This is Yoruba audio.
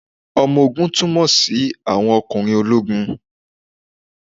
Ọmọ ogun túmọ̀ sí àwọn ọkùnrin ológun.